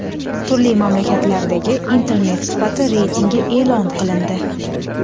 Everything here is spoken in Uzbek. Turli mamlakatlardagi Internet sifati reytingi e’lon qilindi.